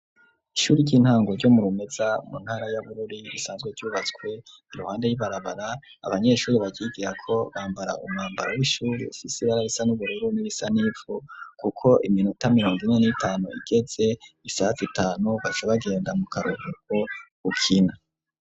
Ishure ry'intango ryo murumeza mu ntara ya bururi risanzwe ryubatswe iruhande y'ibarabara abanyeshuri bakigira ko bambara umwambaro w'ishuri sisibara risa n'ubururun bisanifu kuko iminota miyondo ine n'itanu igetse isatsi itanu basa bagenda mu karubuko gukina.